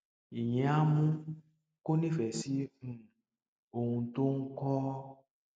ìyẹn á mú kó nífẹẹ sí um ohun tó ń kọ